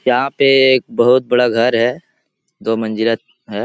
यहाँ पे एक बहुत बड़ा घर है दो मंजिला है।